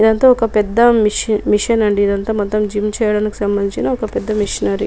ఇదంతా ఒక పెద్ద మిషిన్ . మిషన్ అంది.ఇదంతా మొత్తం జిమ్ చేయటానికి సంబంధించిన పెద్ద మిషనరీ --